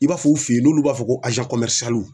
I b'a fɔ u fe yen, n'olu b'a fɔ ko